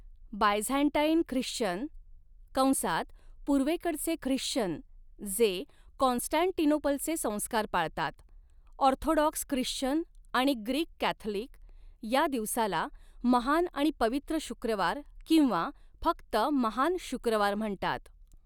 Byzantine Christian कंसात पूर्वेकडचे Christian जे कॉन्स्टँटिनोपलचे संस्कार पाळतात, ऑर्थोडॉक्स ख्रिश्चन आणि ग्रीक कॅथलिक या दिवसाला 'महान आणि पवित्र शुक्रवार' किंवा फक्त 'महान शुक्रवार' म्हणतात.